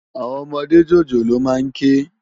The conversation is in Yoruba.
Áwòn òmòdé jójólóò má n ké